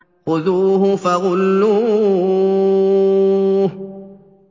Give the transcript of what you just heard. خُذُوهُ فَغُلُّوهُ